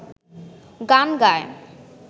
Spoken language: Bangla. গান গায়